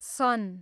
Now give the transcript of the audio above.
सन